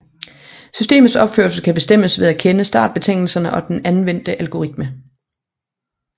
Systemets opførsel kan bestemmes ved at kende startbetingelserne og den anvendte algoritme